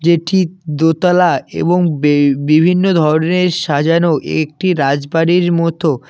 এটি দোতলা এবং বেই বিভিন্ন ধরনের সাজানো একটি রাজবাড়ীর মতো।